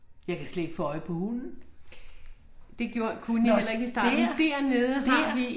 Jeg kan slet ikke få øje på hunden. Nå dér! Dér